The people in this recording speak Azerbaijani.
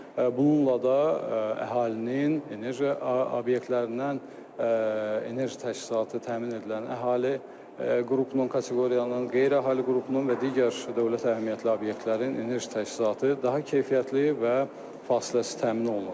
Bununla da əhalinin enerji obyektlərindən enerji təchizatı təmin edilən əhali qrup non kateqoriyanın, qeyri-əhali qrupunun və digər dövlət əhəmiyyətli obyektlərin enerji təchizatı daha keyfiyyətli və fasiləsiz təmin olunur.